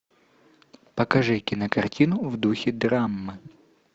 покажи кинокартину в духе драмы